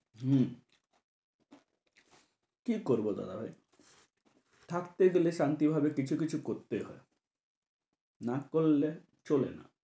হম । কী করব দাদা ভাই, থাকতে গেলে শান্তিভাবে কিছু কিছু করতেই হয়। না করলে চলে না।